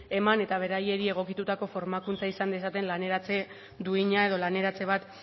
eman eta beraiei egokitutako formakuntza izan dezaten laneratzen duina edo laneratze bat